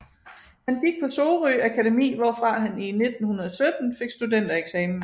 Han gik på Sorø Akademi hvorfra han i 1917 fik studentereksamen